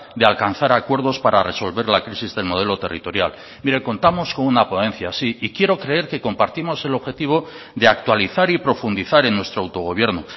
de alcanzar acuerdos para resolver la crisis del modelo territorial mire contamos con una ponencia sí y quiero creer que compartimos el objetivo de actualizar y profundizar en nuestro autogobierno